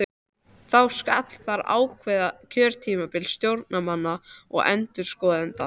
Þá skal þar ákveða kjörtímabil stjórnarmanna og endurskoðenda.